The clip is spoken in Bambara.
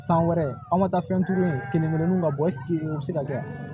San wɛrɛ anw ma taa fɛn kelen kelenw ka bɔ u be se ka kɛ